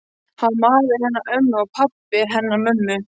Hann var maðurinn hennar ömmu og pabbi hennar mömmu.